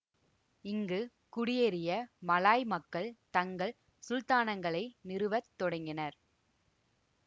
இங்கு குடியேறிய மலாய் மக்கள் தங்கள் சுல்தானகங்களை நிறுவத் தொடங்கினர்